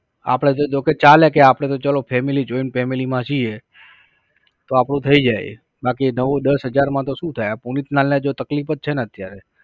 આપડે તો જોકે ચાલે કે આપણે તો ચલો Family, joint family માં છીએ તો આપણું થઈ જાય છે. બાકી નવ દસ હજારમાં તો શું થાય. આ પુનિતલાલ ને જો તકલીફ જ છે ને અત્યારે